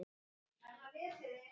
Kornið spíraði ekki nógu vel.